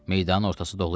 Meydanın ortası dolu idi.